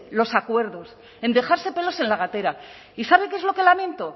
los acuerdos en dejarse pelos en la gatera y sabe qué es lo que lamento